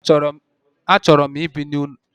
A chọrọ m I bi n'ụlọelu.